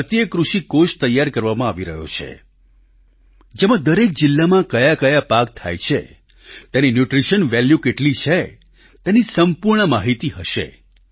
એક ભારતીય કૃષિ કોષ તૈયાર કરવામાં આવી રહ્યો છે જેમાં દરેક જિલ્લામાં કયાકયા પાક થાય છે તેની ન્યૂટ્રિશન વેલ્યૂ કેટલી છે તેની સંપૂર્ણ માહીતી હશે